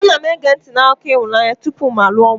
Ana m ege ntị n'akụkọ ịhụnanya tupu m alụọ nwanyị.